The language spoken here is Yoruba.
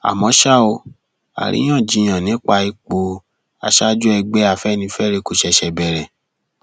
àmọ ṣá o àríyànjiyàn nípa ipò aṣáájú ẹgbẹ afẹnifẹre kò ṣẹṣẹ bẹrẹ